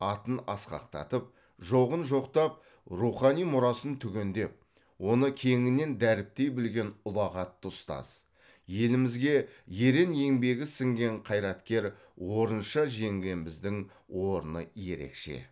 атын асқақтатып жоғын жоқтап рухани мұрасын түгендеп оны кеңінен дәріптей білген ұлағатты ұстаз елімізге ерен еңбегі сіңген қайраткер орынша жеңгеміздің орны ерекше